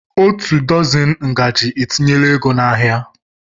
Otu dọzini ngaji etinyela ego n'ahịa